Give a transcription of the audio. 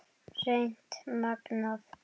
Hreint magnað!